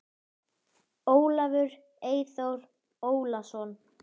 Ólafur Eyþór Ólason.